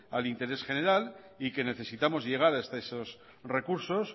al interés general y que necesitamos llegar hasta esos recursos